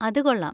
അത് കൊള്ളാം.